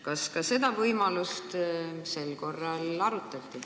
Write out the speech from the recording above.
Kas ka seda võimalust sel korral arutati?